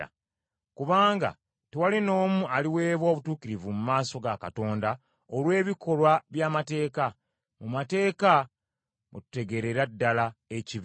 Kubanga tewali n’omu aliweebwa obutuukirivu mu maaso ga Katonda olw’ebikolwa by’amateeka. Mu mateeka mwe tutegeerera ddala ekibi.